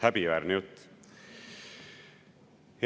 Häbiväärne jutt!